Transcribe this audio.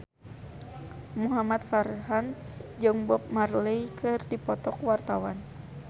Muhamad Farhan jeung Bob Marley keur dipoto ku wartawan